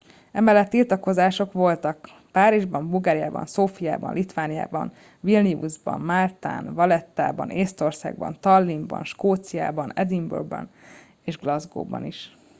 emellett tiltakozások voltak párizsban bulgáriában szófiában litvániában vilniusban máltán valettában észtországban tallinnban skóciában edinburgh ban és glasgow ban is